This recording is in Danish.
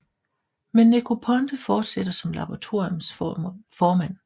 Men Negroponte fortsætter som laboratorium formand